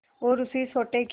और उसी सोटे के